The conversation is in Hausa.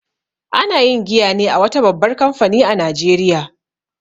Ana yin giya ne a wata babbar kamfani a Najeriya